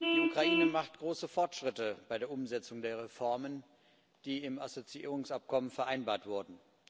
Die Ukraine macht große Fortschritte bei der Umsetzung der Reformen, die im Assoziierungsabkommen vereinbart wurden.